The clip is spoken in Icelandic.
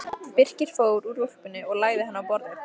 Birkir fór úr úlpunni og lagði hana á borðið.